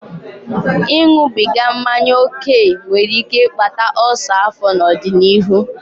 Ịṅụbiga mmanya ókè nwere ike ịkpata ulcer afọ n'ọdịnihu.